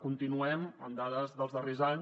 continuem amb dades dels darrers anys